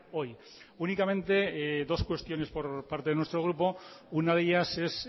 hoy únicamente dos cuestiones por parte de nuestro grupo una de ellas es